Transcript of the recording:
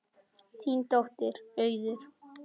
Þín dóttir, Auður.